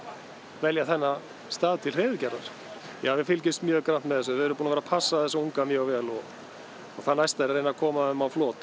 velja þennan stað til hreiðurgerðar já við fylgjumst mjög grannt með þessu við erum búin að vera að passa þessa unga mjög vel og það næsta er að reyna að koma þeim á flot